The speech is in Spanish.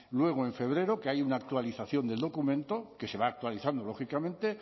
luego en febrero que hay una actualización del documento que se va actualizando lógicamente